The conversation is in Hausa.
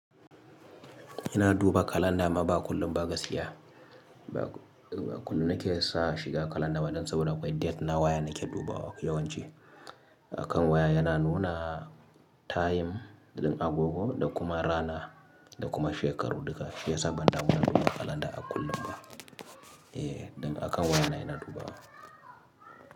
Ina duba kalanda amma ba kullum ba ga siya. Ba kullum nake sa shiga kalanda ba don saboda akwai date na waya nake dubawa yawanci. Akan waya yana nuna time din agogo da kuma rana da kuma shekaru duka. Shi ya sa ban damu na duba kalanda a kullum ba. Eh, ɗin akan waya na ina dubawa.